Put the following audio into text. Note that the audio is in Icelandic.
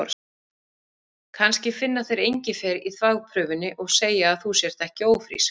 Kannski finna þeir engifer í þvagprufunni og segja að þú sért ekki ófrísk.